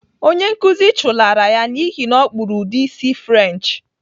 Onye nkuzi chụlara ya n'ihi na ọ kpụrụ ụdị isi French.